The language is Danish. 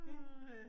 Ja